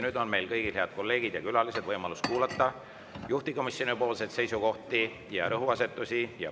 Nüüd on meil kõigil, head kolleegid ja külalised, võimalus kuulata juhtivkomisjoni seisukohti ja rõhuasetusi.